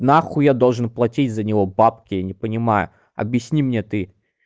нахуй я должен платить за него бабки я не понимаю объясни мне ты